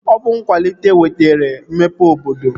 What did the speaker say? Ọ bụ nkwalite wetara mmepe obodo